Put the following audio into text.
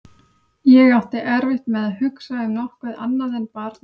Ég átti erfitt með að hugsa um nokkuð annað en barnið mitt.